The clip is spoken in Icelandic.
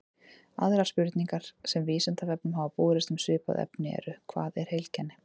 Aðrar spurningar sem Vísindavefnum hafa borist um svipað efni eru: Hvað er heilkenni?